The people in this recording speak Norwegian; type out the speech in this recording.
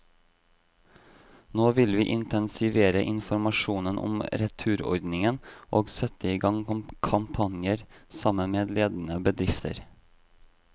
Nå vil vi intensivere informasjonen om returordningen og sette i gang kampanjer, sammen med ledende bedrifter.